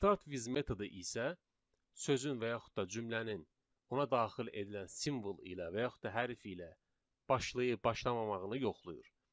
Start with metodu isə sözün və yaxud da cümlənin ona daxil edilən simvol ilə və yaxud da hərf ilə başlayıb başlamamağını yoxlayır.